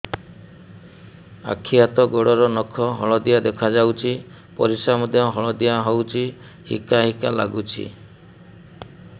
ଆଖି ହାତ ଗୋଡ଼ର ନଖ ହଳଦିଆ ଦେଖା ଯାଉଛି ପରିସ୍ରା ମଧ୍ୟ ହଳଦିଆ ହଉଛି ହିକା ହିକା ଲାଗୁଛି